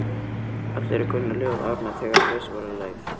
Allir kunnu ljóð Árna, þegar fyrst voru leyfð